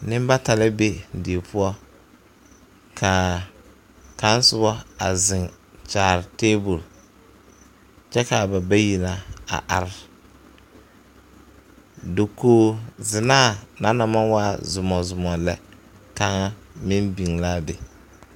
Nenbata la be die poɔ ka kaŋ soba a zeŋ kyaare tabol kyɛ ka ba bayi na a are dakogzenaa na naŋ maŋ waa zomɔzomɔ lɛ kaŋa meŋ biŋ l,a be.